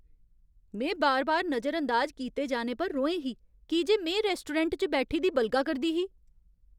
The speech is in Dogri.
में बार बार नजर अंदाज कीते जाने पर रोहें ही, की जे में रेस्टोरैंट च बैठी दी बलगा करदी ही।